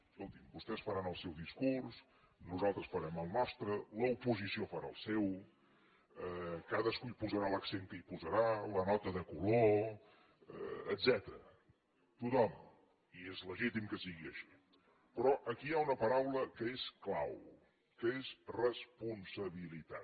escolti’m vostès faran el seu discurs nosaltres farem el nostre l’oposició farà el seu cadascú hi posarà l’accent que hi posarà la nota de color etcètera tothom i és legítim que sigui així però aquí hi ha una paraula que és clau que és responsabilitat